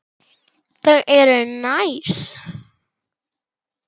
Þau eru næs.